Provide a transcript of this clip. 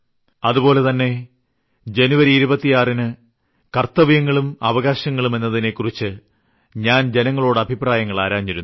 അതുപോലെതന്നെ ജനുവരി 26ന് കർത്തവ്യങ്ങളും അവകാശങ്ങളും എന്നതിനെ കുറിച്ച് ഞാൻ ജനങ്ങളോട് അഭിപ്രായങ്ങൾ ആരാഞ്ഞിരുന്നു